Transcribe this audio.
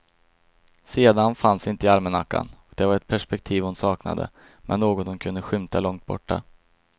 Sedan fanns inte i almanackan och det var ett perspektiv hon saknade, men något hon kunde skymta långt borta.